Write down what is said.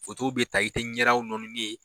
bi ta, i te ɲɛdaw nɔnini ye